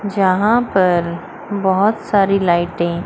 यहां पर बहुत सारी लाइटें --